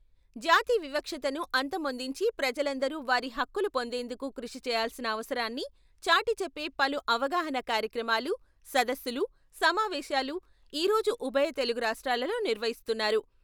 జాతి వివక్షతను అంతమొందించి ప్రజలందరూ వారి హక్కులు పొందేందుకు కృషి చేయాల్సిన అవసరాన్ని చాటి చెప్పే పలు అవగాహనా కార్యక్రమాలు, సదస్సులు, సమావేశాలు ఈ రోజు ఉభయ తెలుగు రాష్ట్రాలలో నిర్వహిస్తున్నారు.